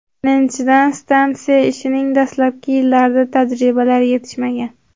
Birinchidan, stansiya ishining dastlabki yillarida tajribalar yetishmagan.